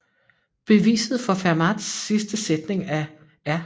Beviset for Fermats sidste sætning af R